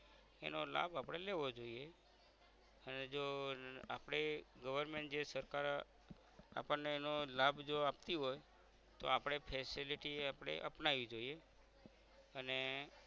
એનો લાભ આપણે લેવો જોઇયે અને જો અમ આપણે government જે સરકાર આપણને એનો લાભ જો આપતી હોય તો આપણે facility આપણે અપનાવી જોઇયે અને